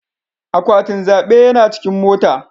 Akwatin zaɓe yana a cikin mota.